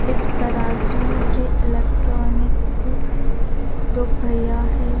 एक तराजू है इलेक्ट्रॉनिक दो भैया है।